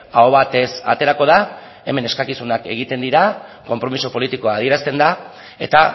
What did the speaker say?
aho batez aterako da hemen eskakizunak egiten dira konpromiso politikoa adierazten da eta